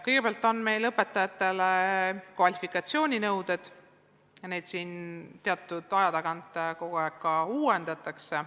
Kõigepealt on meil õpetajatele kvalifikatsiooninõuded, neid teatud aja tagant ka kogu aeg uuendatakse.